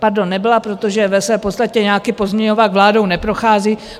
Pardon, nebyla, protože ve své podstatě nějaký pozměňovák vládou neprochází.